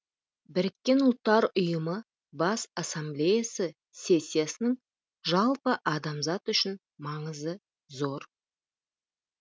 біріккен ұлттар ұйымы бас ассамблеясы сессиясының жалпы адамзат үшін маңызы зор